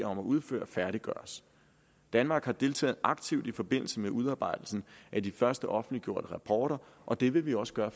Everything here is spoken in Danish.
om at udføre færdiggøres danmark har deltaget aktivt i forbindelse med udarbejdelsen af de første offentliggjorte rapporter og det vil vi også gøre